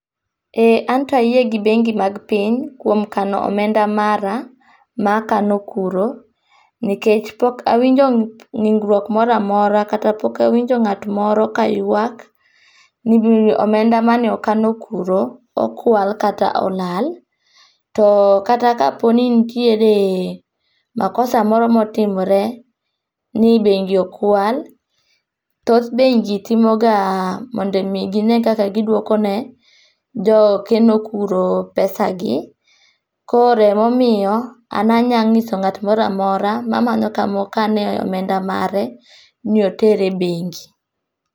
Ee anta yie gi bengi mag piny kuom kano omenda mara ma akano kuro, nikech pok awinjo ng'ikruok moro amora kata pok awinjo ng'ato kaywak ni omenda mane okano kuro okwal kata olal. To kata kaponi ntiere makosa moro motimre ni bengi okwal , thoth bengi timo ga mondo gine kaka gidwoko ne jokeno kuro pesagi . Koro emomiyo an anya nyiso ng'at moro amora mamanyo kama okane omenda mare ni oter e bengi.